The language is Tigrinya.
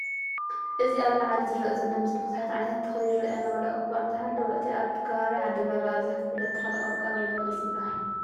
እዚ ኣብ ላዓሊ ዝርአ ዘሎ ምስሊ ቡዙሓት ዓይነታት ተኽሊ የርኤና ዋላ እኻ ኣንታሃለወ፤ እቲ ኣብ ከባቢ ዓዲግራት ብኣብዝሓ ዝፍለጥ ተኽሊ"ቆልቋል" ወይ" በለስ"ይባሃል።